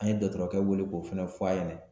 An ye dɔgɔtɔrɔkɛ wele k'o fana fɔ a ɲɛna